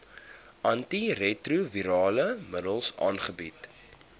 antiretrovirale middels aangebied